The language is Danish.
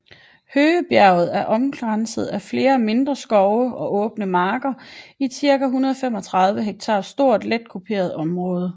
Høgebjerget er omkranset af flere mindre skov og åbne marker i et cirka 135 ha stort let kuperet området